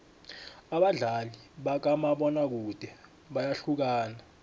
abadlali bakamabona kude bayahlukana